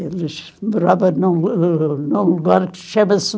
Eles moravam num num lugar que chama-se